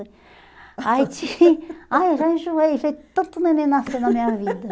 aí tin Aí eu já enjoei, já vi tanto neném nascendo na minha vida.